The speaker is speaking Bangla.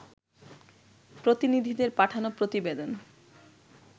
প্রতিনিধিদের পাঠানো প্রতিবেদন